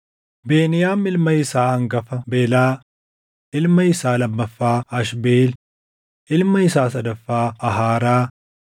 Beniyaam ilma isaa hangafa Belaa, ilma isaa lammaffaa Ashbeel, ilma isaa sadaffaa Aharaa,